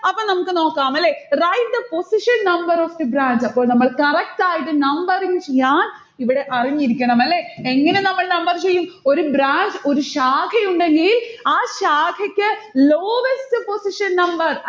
അപ്പൊ നമ്മുക്ക് നോക്കാം അല്ലെ write the position number of the branch അപ്പോൾ നമ്മൾ correct ആയിട്ട് numbering ചെയ്യാൻ ഇവിടെ അറിഞ്ഞിരിക്കണം അല്ലെ? എങ്ങനെ നമ്മൾ number ചെയ്യും? ഒരു branch ഒരു ശാഖയുണ്ടെങ്കിൽ ആ ശാഖക്ക് lowest position number